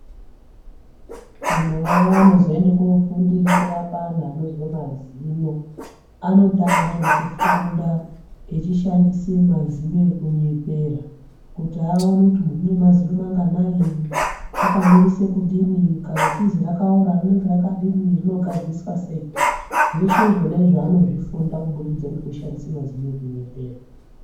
Antu anozoenda koorapa antu vanozwa mazino, anotanga ngekufunda echishandisa mazino ekunyepera kuti aone kuti muntu une mazino manganai? Akamirisa kudini? . Kana richizi rakaora rinenge rakadini? Rinogadziriswa sei? Zveshe izvo anozvifunda kubudikidza ngemazino ekunyepera.